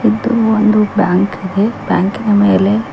ಇದು ಒಂದು ಬ್ಯಾಂಕ್ ಇದೆ ಬ್ಯಾಂಕಿ ನ ಮೇಲೆ.